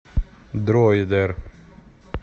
дроидер